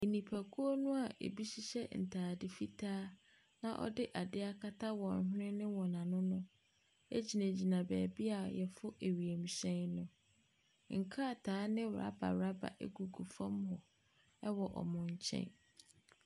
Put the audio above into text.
Nipakuo no a ɛbi hywhyɛ ntadeɛ fitaa na wɔde adeɛ akata wɔn hwene ne wɔn ano no gyinagyina baabi a wɔforo wiemhyɛn no. nkrataa ne rubber rubber gugu fam hɔ wɔ wɔn nkyɛn.